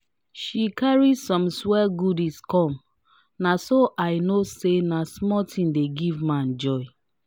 she carry some swir goodies come na so i know say na small thing dey give man joy.